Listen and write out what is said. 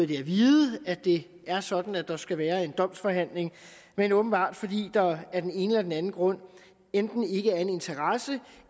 vide at det er sådan at der skal være en domsforhandling men åbenbart fordi der af den ene eller den anden grund enten ikke er en interesse